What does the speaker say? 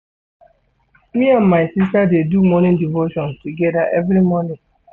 Me and my sista dey do morning devotion togeda every morning.